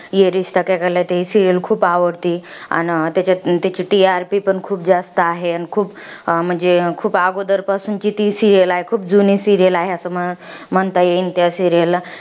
ही serial खूप आवडते. अन त्याच्यात त्याची TRP पण खूप जास्त आहे. अन खूप म्हणजे खूप आगोदरपासूनची ती serial आहे. खूप जुनी serial आहे. असं म्ह म्हणता येईल त्या serial ला.